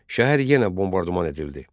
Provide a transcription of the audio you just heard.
Şəhər yenə bombardman edildi.